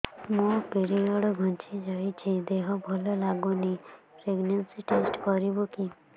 ମୋ ପିରିଅଡ଼ ଘୁଞ୍ଚି ଯାଇଛି ଦେହ ଭଲ ଲାଗୁନି ପ୍ରେଗ୍ନନ୍ସି ଟେଷ୍ଟ କରିବୁ କି